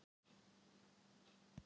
Kók eða te eða Nes?